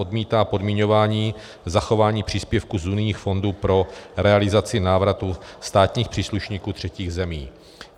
odmítá podmiňování zachování příspěvků z unijních fondů pro realizaci návratu státních příslušníků třetích zemí.